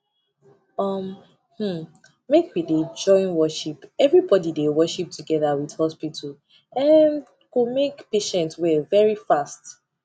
um hmmmmake we dey join worship everybody dey worship together with hospital um go make patient well very fast